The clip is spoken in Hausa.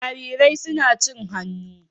Jarirai suna son cin hannu.